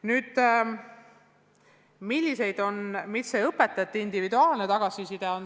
Nüüd sellest, mis puudutab õpetajate individuaalset tagasisidet.